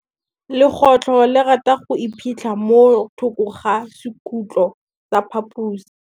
Legôtlô le rata go iphitlha mo thokô ga sekhutlo sa phaposi.